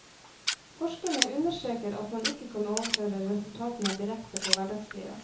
Forskerne understreker at man ikke kan overføre resultatene direkte på hverdagslivet.